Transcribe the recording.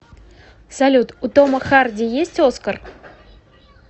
салют у тома харди есть оскар